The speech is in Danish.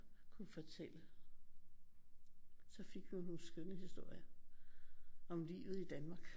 Kunne fortælle så fik vi nogle skønne historier om livet i Danmark